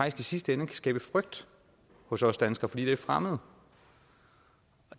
i sidste ende kan skabe frygt hos os danskere fordi det er fremmed